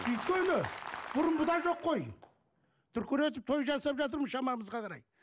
өйткені бұрынғыдай жоқ қой дүркіретіп той жасап жатырмыз шамамызға қарай